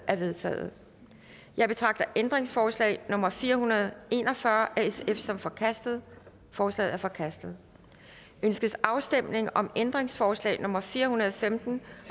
er vedtaget jeg betragter ændringsforslag nummer fire hundrede og en og fyrre af sf som forkastet forslaget er forkastet ønskes afstemning om ændringsforslag nummer fire hundrede og femten